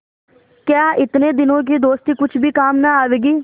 क्या इतने दिनों की दोस्ती कुछ भी काम न आवेगी